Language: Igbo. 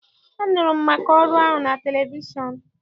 Anụrụ m maka ọrụ ahụ na televishọn.